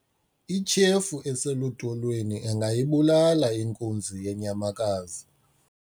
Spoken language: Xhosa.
ityhefu eselutolweni ingayibulala inkunzi yenyamakazi